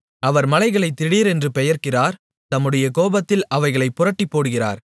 அவர் மலைகளை திடீரென்று பெயர்க்கிறார் தம்முடைய கோபத்தில் அவைகளைப் புரட்டிப்போடுகிறார்